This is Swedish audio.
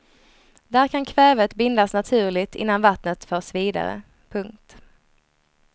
Där kan kvävet bindas naturligt innan vattnet förs vidare. punkt